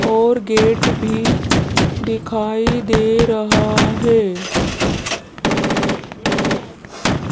और गेट भी दिखाई दे रहा है।